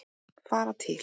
Fara til